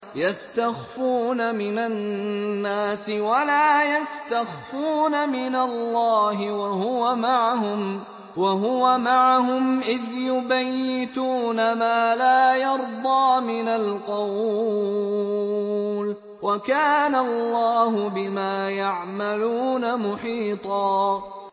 يَسْتَخْفُونَ مِنَ النَّاسِ وَلَا يَسْتَخْفُونَ مِنَ اللَّهِ وَهُوَ مَعَهُمْ إِذْ يُبَيِّتُونَ مَا لَا يَرْضَىٰ مِنَ الْقَوْلِ ۚ وَكَانَ اللَّهُ بِمَا يَعْمَلُونَ مُحِيطًا